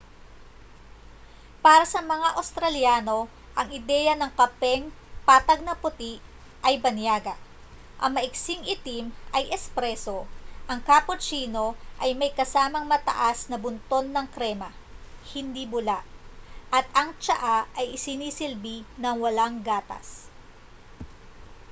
para sa mga australyano ang ideya ng kapeng 'patag na puti' ay banyaga. ang maiksing itim ay 'espresso' ang cappuccino ay may kasamang mataas na bunton ng krema hindi bula at ang tsaa ay isinisilbi na walang gatas